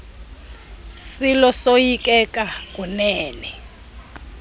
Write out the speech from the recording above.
silo soyikeka kunene